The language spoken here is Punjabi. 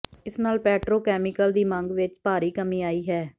ਇਸ ਨਾਲ ਪੈਟਰੋ ਕੈਮੀਕਲ ਦੀ ਮੰਗ ਵਿੱਚ ਭਾਰੀ ਕਮੀ ਆਈ ਹੈ